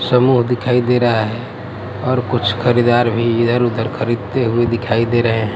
समूह दिखाई दे रा है और कुछ खरीदार भी इधर उधर खरीदते हुए दिखाई दे रहे हैं।